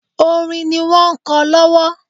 Orin ni wọ́n ń kọ lọ́wọ́